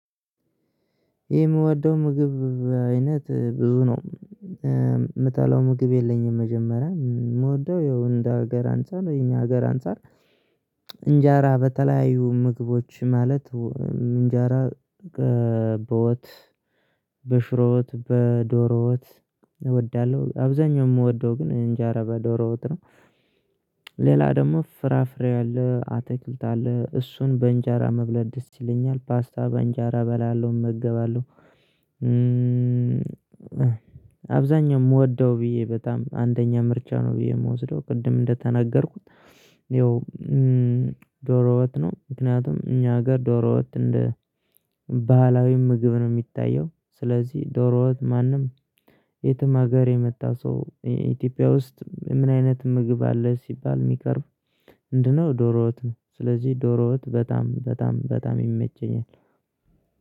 የምወደው ምግብ አይነት ብዙ ነው። ምጠላው ምግብ የለኝም መጀመሪያ የምወደው ይኸው እንደ ሀገር አንፃር የኛ ሀገር አንፃር። እንጀራ በተለያዩ ምግቦች ማለት እንጀራ በወጥ በሽሮ ወጥ በዶሮወጥ እወዳለሁ። አብዛኛው የምወደው ግን እንጀራ በዶሮ ወጥ ነው። ሌላ ደግሞ ፍራፍሬ አለ አትክልት አለ እሱን በእንጀራ መብላት ደስ ይለኛል ፓስታ በእንጀራ እበላለው እመገባለሁ። አብዛኛው የምወደው ብዬ በጣም አንደኛ ምርጫ ነው ብዬ የምወስደው ቅድም እንደተናገርኩት። ይኸው ዶሮ ወጥ ነው ምክንያቱም እኛ ጋር ዶሮወጥ እንደ ባህላዊ ምግብ ነው የሚታየው። ስለዚህ ዶሮወጥ ማንም የትም ሀገር የመጣ ሰው ኢትዮጵያ ውስጥ ምን አይነት ምግብ አለ ሲባል የሚቀርብ ምንድነው? ዶሮወጥ ነው። ስለዚህ ዶሮወጥ በጣም በጣም በጣም ይመቸኛል።